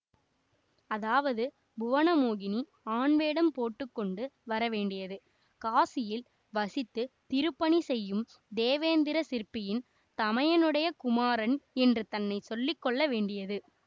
அதாவது புவனமோகினி ஆண்வேடம் போட்டு கொண்டு வரவேண்டியது காசியில் வசித்துத் திருப்பணி செய்யும் தேவேந்திர சிற்பியின் தமையனுடைய குமாரன் என்று தன்னை சொல்லி கொள்ள வேண்டியது